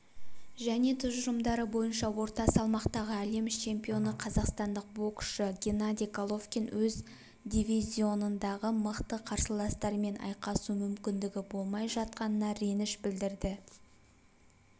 және тұжырымдары бойынша орта салмақтағы әлем чемпионы қазақстандық боксшы геннадий головкин өз дивизионындағы мықты қарсыластармен айқасу мүмкіндігі болмай жатқанына реніш білдірді